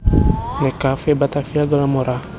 Nek Cafe Batavia gelem ora